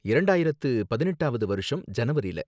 இரண்டாயிரத்து பதினெட்டாவது வருஷம் ஜனவரில.